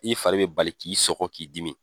I fari bɛ bali k'i sɔgɔ k'i dimi.